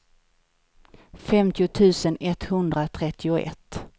femtio tusen etthundratrettioett